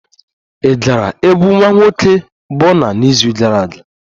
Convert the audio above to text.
Ị gara egwu nwa nwoke Burna n'izu gara aga?